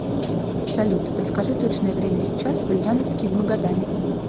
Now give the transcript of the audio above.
салют подскажи точное время сейчас в ульяновске и в магадане